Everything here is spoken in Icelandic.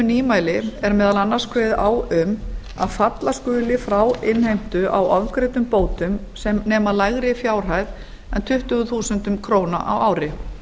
nýmæli er meðal annars kveðið á um að falla skuli frá innheimtu á ofgreiddum bótum sem nema lægri fjárhæð en tuttugu þúsund krónur á ári